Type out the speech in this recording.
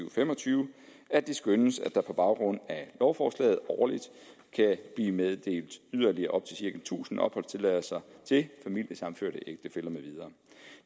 og fem og tyve at det skønnes at der på baggrund af lovforslaget årligt kan blive meddelt yderligere op til tusind opholdstilladelser til familiesammenførte ægtefæller med videre